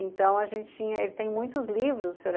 Então a gente tinha, ele tem muitos livros, o Sr.